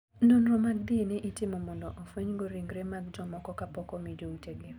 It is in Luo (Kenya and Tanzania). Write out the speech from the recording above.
Nonro mag DNA itimo mondo ofwenygo ringre mag jomoko ka pok omi joutegi.